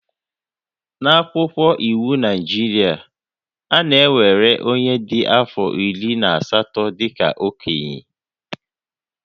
N'akwụkwọ iwu Naịjirịa, a na-ewere onye dị afọ iri na asatọ dị ka okenye